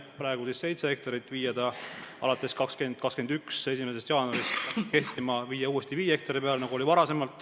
Praegu on see seitse hektarit, aga plaanis on viia ta alates 2021. aasta 1. jaanuarist uuesti viie hektari peale, nagu oli varem.